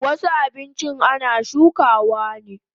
Wasu abinchin ana shukawa ne